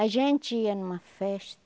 A gente ia numa festa,